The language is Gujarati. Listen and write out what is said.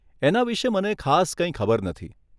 એના વિશે મને ખાસ કંઈ ખબર નથી.